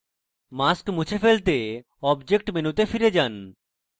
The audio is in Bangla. mask মুছে ফেলতে object মেনুতে ফিরে যান